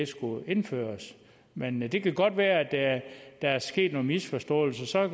skulle indføres men men det kan godt være at der er sket nogle misforståelser og